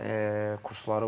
Bunun kursları var.